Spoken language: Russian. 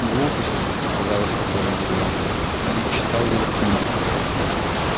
глупости сказала спокойно гермиона ты ведь читал его книги